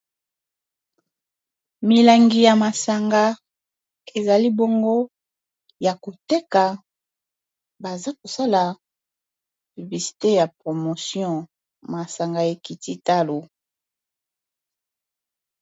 milangi ya masanga ezali bongo ya koteka baza kosala bibisite ya promotion masanga ekiti talo